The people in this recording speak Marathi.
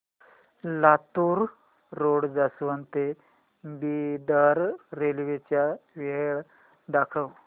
लातूर रोड जंक्शन ते बिदर रेल्वे च्या वेळा दाखव